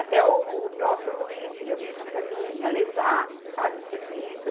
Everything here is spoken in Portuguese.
Até o próprio Luiz ia buscar para mim, ia levar, sabe, o serviço.